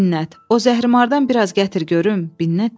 “A Binnət, o zəhri-marıdan biraz gətir görüm.”